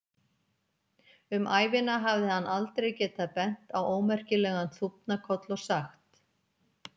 Um ævina hafði hann aldrei getað bent á ómerkilegan þúfnakoll og sagt